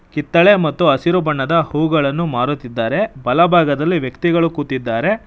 ಕಿತ್ತಾಳೆ ಮತ್ತು ಹಸಿರು ಬಣ್ಣದ ಹೂಗಳನ್ನು ಮಾರುತ್ತಿದ್ದಾರೆ ಬಲಭಾಗದಲ್ಲಿ ವ್ಯಕ್ತಿಗಳು ಕೂತಿದ್ದಾರೆ.